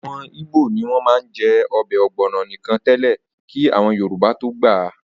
Àwọn ìgbò ní wọ́n má ń jẹ́ ọbẹ̀ ọ̀gbọ̀nọ̀ nìkan tẹ́lẹ̀ kí àwọn Yorùbá tó gbà á